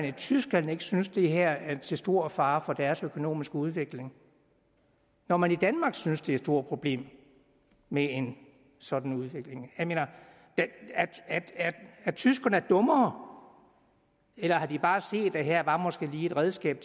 i tyskland ikke synes at det her er til stor fare for deres økonomiske udvikling når man i danmark synes det stort problem med en sådan udvikling jeg mener er tyskerne dummere eller har de bare set at her var måske lige et redskab